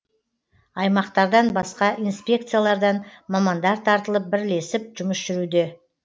аймақтардан басқа инспекциялардан мамандар тартылып бірлесіп жұмыс жүруде